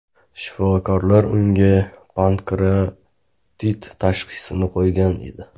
Shifokorlar unga pankreatit tashxisini qo‘ygan edi.